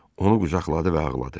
Onu qucaqladı və ağladı.